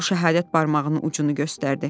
O şəhadət barmağının ucunu göstərdi.